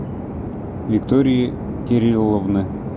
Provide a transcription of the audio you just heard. виктории кирилловны